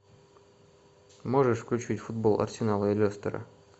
можешь включить футбол арсенала и лестера